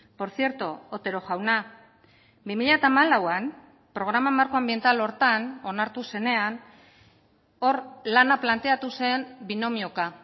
por cierto otero jauna bi mila hamalauan programa markoanbiental horretan onartu zenean hor lana planteatu zen binomioka